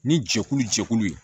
Ni jɛkulu jɛkulu ye